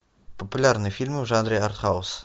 популярные фильмы в жанре арт хаус